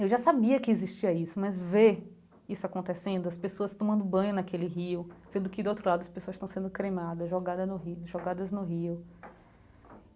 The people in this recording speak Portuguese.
Eu já sabia que existia isso, mas ver isso acontecendo, as pessoas tomando banho naquele rio, sendo que, do outro lado, as pessoas estão sendo cremadas, jogada no rio, jogadas no rio.